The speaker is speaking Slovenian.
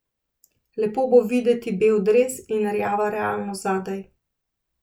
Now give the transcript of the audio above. Lepo bo videti bel dres in rjava realnost zadaj.